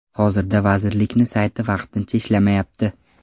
Hozirda vazirlikni sayti vaqtincha ishlamayapti.